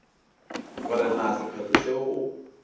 gore na sephetho seo o